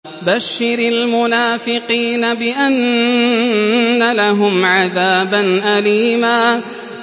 بَشِّرِ الْمُنَافِقِينَ بِأَنَّ لَهُمْ عَذَابًا أَلِيمًا